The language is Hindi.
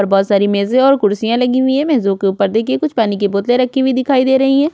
और बहुत सारी मेजे और कुर्सियां लगी हुई हैं मेजो के ऊपर देखिए कुछ पानी की बोतले रखी हुई दिखाई दे रही हैं।